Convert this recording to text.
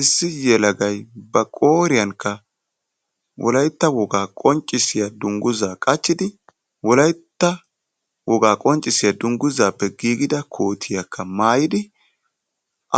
Issi yellaggay ba qooriyankka wolaytta woggaa qoncissiyaa dungguzza qachchidi wolaytta woggaa qonccissiyaa dungguzappe giigidda koottiyaakka maayidi